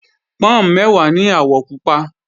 Pọ́n mẹ́wàá ní àwọ̀ pupa